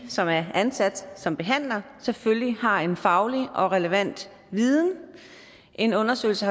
som er ansat som behandlere selvfølgelig har en faglig og relevant viden en undersøgelse